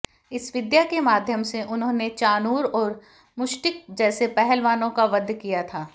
इस विद्या के माध्यम से उन्होंने चाणूर और मुष्टिक जैसे पहलवानों का वध किया था